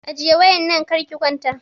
Ajiye wayar nan ki kwanta!